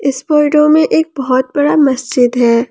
इस फोटो में एक बहुत बड़ा मस्जिद है।